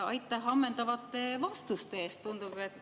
Aitäh ammendavate vastuste eest!